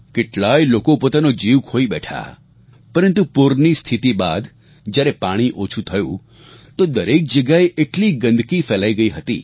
કેટલાય લોકો પોતાનો જીવ ખોઈ બેઠા પરંતુ પૂરની સ્થિતી બાદ જ્યારે પાણી ઓછું થયું તો દરેક જગ્યાએ એટલી ગંદકી ફેલાઈ ગઈ હતી